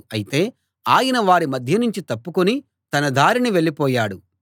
అయితే ఆయన వారి మధ్యనుంచి తప్పుకుని తన దారిన వెళ్ళిపోయాడు